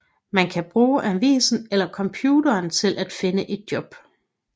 Man kan bruge avisen eller computeren til at finde et job